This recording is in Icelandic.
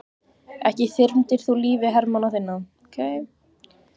Ekki þyrmdir þú lífi hermanna þinna?